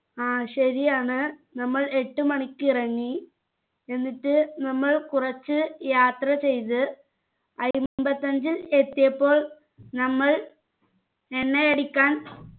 ആ ശരിയാണ് നമ്മൾ എട്ടു മണിക്ക് ഇറങ്ങി എന്നിട്ട് നമ്മൾ കുറച്ച് യാത്ര ചെയ്ത് അയ്മ്പത്തി അഞ്ചിൽ എത്തിയപ്പോൾ നമ്മൾ എണ്ണയടിക്കാൻ